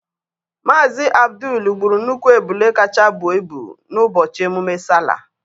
Mazị Abdul gburu nnukwu ebule kacha bụọ ịbụ n'ụbọchị emume Sallah.